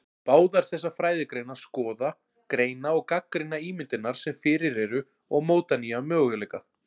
Báðar þessar fræðigreinar skoða, greina og gagnrýna ímyndirnar sem fyrir eru og móta nýja möguleika.